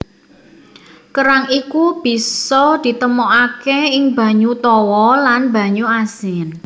Kerang iku bisa ditemokaké ing banyu tawa lan banyu asin